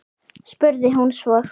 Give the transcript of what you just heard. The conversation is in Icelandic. spurði hún svo.